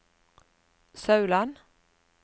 Sauland